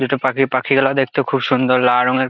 দুটো পাখি পাখি গুলো দেখতে খুব সুন্দর লাল রং এর।